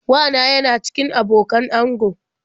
Wa na yana cikin abokan ango.